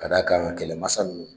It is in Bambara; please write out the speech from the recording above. Ka d'a kan kɛlɛmansa ninnu